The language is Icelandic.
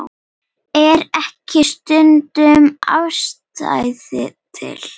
Er ekki stundum ástæða til?